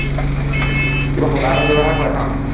কিবা সূতা এডাল ব্য়ৱহাৰ কৰে ন